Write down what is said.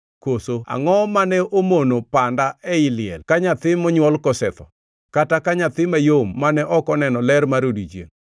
Koso angʼo mane omono panda ei liel ka nyathi monywol kosetho, kata ka nyathi mayom mane ok oneno ler mar odiechiengʼ?